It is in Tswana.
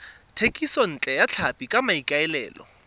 thekisontle ya tlhapi ka maikaelelo